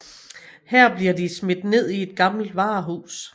Her bliver de smidt ned i et gammelt varehus